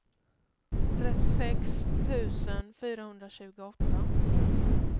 trettiosex tusen fyrahundratjugoåtta